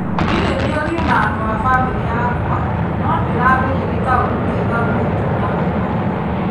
Ndirĩ mĩario na andũ ma bamĩri yakwa no ndĩramenya nĩ kaũndũ kega gwitu na kwao